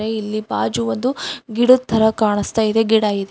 ಇಲ್ಲಿ ಬಾಜು ಒಂದು ಗಿಡದ್ ತರ ಕಾಣುಸ್ತಾ ಇದೆ ಗಿಡ ಇದೆ.